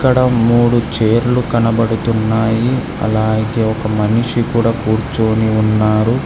ఇక్కడ మూడు చైర్లు కనబడుతున్నాయి అలాగే ఒక మనిషి కూడా కూర్చొని ఉన్నారు.